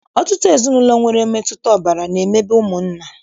Ọtụtụ ezinaụlọ nwere mmetụta ọbara na-emebe ụmụnna